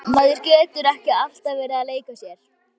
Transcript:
Maður getur ekki alltaf verið að leika sér.